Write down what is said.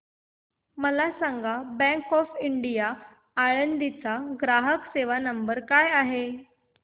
मला सांगा bank of India Alandi चा ग्राहक सेवा नंबर काय आहे